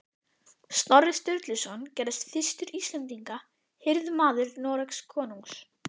Snorri Sturluson gerðist fyrstur Íslendinga hirðmaður Noregskonungs